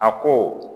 A ko